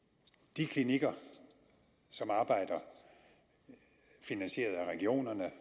de klinikker som arbejder finansieret af regionerne